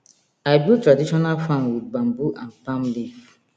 i build traditional farm with bamboo and palm leaf